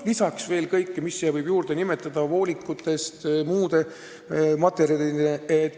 Pluss kõik, mida veel võib vaja minna alates voolikutest ja lõpetades muude vahenditega.